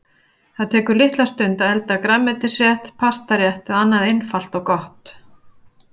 Það tekur litla stund að elda grænmetisrétt, pastarétt eða annað einfalt og gott.